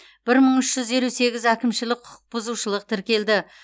бір мың үш жүз елу сегіз әкімшілік құқық бұзушылық тіркелді